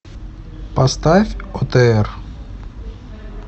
поставь отр